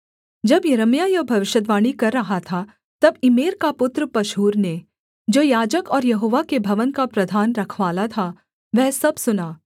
जब यिर्मयाह यह भविष्यद्वाणी कर रहा था तब इम्मेर का पुत्र पशहूर ने जो याजक और यहोवा के भवन का प्रधान रखवाला था वह सब सुना